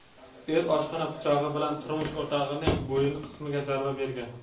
er oshxona pichog‘i bilan turmush o‘rtog‘ining bo‘yin qismiga zarba bergan.